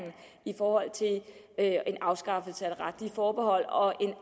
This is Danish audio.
for at afskaffe det retlige forbehold og